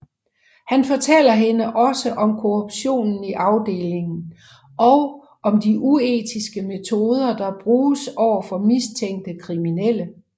Han fortæller hende også om korruptionen i afdelingen og om de uetiske metoder der bruges over for mistænkte kriminelle